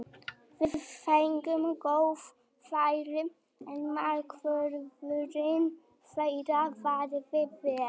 Við fengum góð færi, en markvörðurinn þeirra varði vel.